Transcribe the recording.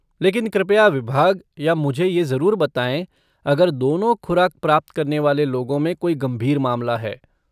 लेकिन कृपया विभाग या मुझे ये ज़रूर बताएँ अगर दोनों खुराक प्राप्त करने वाले लोगों में कोई गंभीर मामला है।